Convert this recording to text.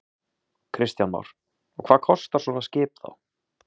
Kristján Már: Og hvað kostar svona skip þá?